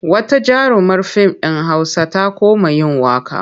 Wata jarumar fim ɗin Hausa ta koma yin waƙa.